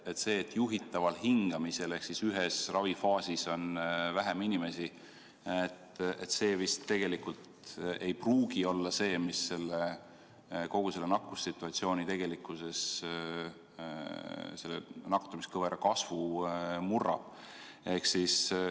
Aga see, et juhitaval hingamisel ehk ühes ravifaasis on vähem inimesi, tegelikult vist ei pruugi olla see, mis kogu selle nakkussituatsiooni tegelikkuses nakatumiskõvera kasvu murrab.